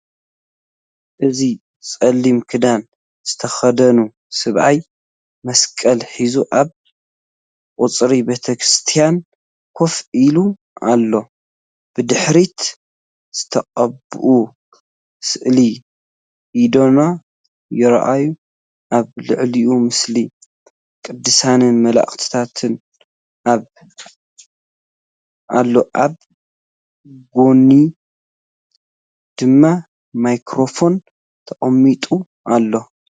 እዚ ጸሊም ክዳን ዝተኸድነ ሰብኣይ መስቀል ሒዙ ኣብ ቀጽሪ ቤተክርስትያን ኮፍ ኢሉ ኣሎ። ብድሕሪት ዝተቐብአ ስእሊ ኣድኖ ይርአ፣ ኣብ ልዕሊኡ ምስሊ ቅዱሳንን መላእኽትን ኣሎ። ኣብ ጎድኑ ድማ ማይክሮፎን ተቐሚጡ ኣሎ።